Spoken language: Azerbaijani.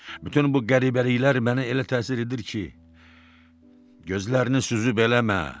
Bütün bu qəribəliklər məni elə təsir edir ki, gözlərini süzüb eləmə.